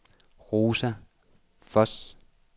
Rosa Voss